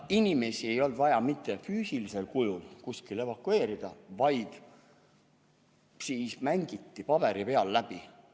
Inimesi ei olnud vaja mitte füüsilisel kujul kuskile evakueerida, vaid see mängiti paberi peal läbi.